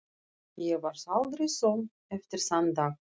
Ég varð aldrei söm eftir þann dag.